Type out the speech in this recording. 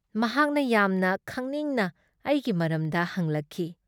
ꯃꯍꯥꯛꯅ ꯌꯥꯝꯅ ꯈꯪꯅꯤꯡꯅ ꯑꯩꯒꯤ ꯃꯔꯝꯗ ꯍꯪꯂꯛꯈꯤ ꯫